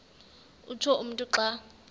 utsho umntu xa